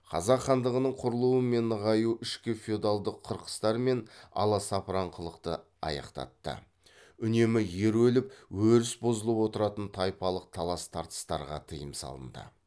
қазақ хандығының құрылуы мен нығаю ішкі феодалдық қырқыстар мен аласапыранқылықты аяқтатты үнемі ер өліп өріс бұзылып отыратын тайпалық талас тартыстарға тыйым салынды